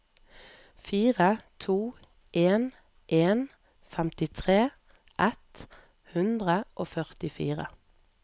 fire to en en femtitre ett hundre og førtifire